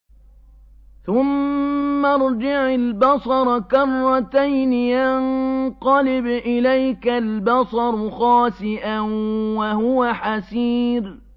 ثُمَّ ارْجِعِ الْبَصَرَ كَرَّتَيْنِ يَنقَلِبْ إِلَيْكَ الْبَصَرُ خَاسِئًا وَهُوَ حَسِيرٌ